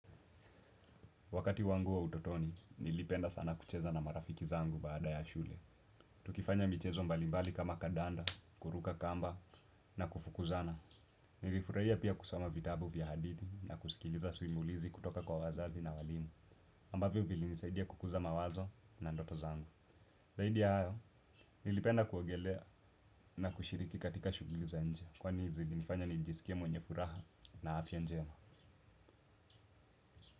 Wakati wangu wa utotoni, nilipenda sana kucheza na marafiki zangu baada ya shule. Tukifanya michezo mbalimbali kama kadanda, kuruka kamba na kufukuzana. Nilifurahia pia kusoma vitabu vya hadithi na kusikiliza simulizi kutoka kwa wazazi na walimu. Ambavyo vili nisaidia kukuza mawazo na ndoto zangu. Zaidi ya hayo, nilipenda kuogelea na kushiriki katika shughuli za nje. Kwani zilinifanya nijisikie mwenye furaha na afya njema.